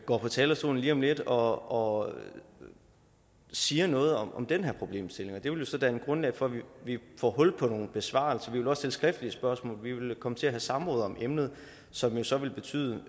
går på talerstolen lige om lidt og og siger noget om den her problemstilling og det vil jo så danne grundlag for at vi får hul på nogle besvarelser vi vil også stille skriftlige spørgsmål vi vil komme til at have samråd om emnet som jo så vil betyde